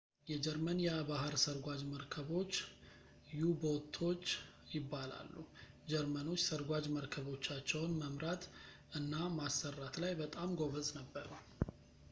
የጀርመን የባህር ስርጓጅ መርከቦች ዩ-ቦቶች ይባላሉ ጀርመኖች ሰርጓጅ መረከቦቻቸውን መምራት እና ማሰራት ላይ በጣም ጎበዝ ነበሩ